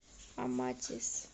аматис